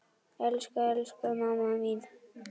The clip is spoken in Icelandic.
Elsku, elsku mamma mín.